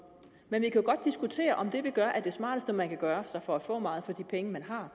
men vi kan jo godt diskutere om det vi gør er det smarteste man kan gøre for at få meget for de penge man har